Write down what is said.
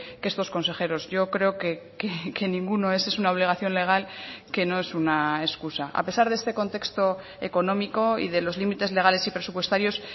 que estos consejeros yo creo que ninguno es es una obligación legal que no es una excusa a pesar de este contexto económico y de los límites legales y presupuestarios